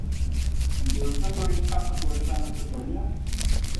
In če je vse to res kakšna dovršena sleparija?